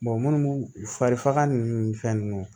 munnu fari faga nunnu ni fɛn nunnu